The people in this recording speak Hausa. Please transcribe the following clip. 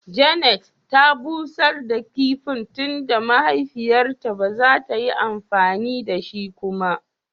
"Janet " ya bushar da kipin tunda mahaifiyan ta ba za ta yi amfani da shi kuma.